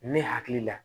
Ne hakili la